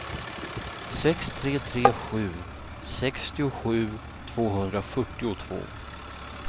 sex tre tre sju sextiosju tvåhundrafyrtiotvå